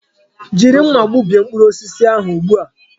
Jiri nmà gbubie mkpụrụ osisi ahụ ugbu a!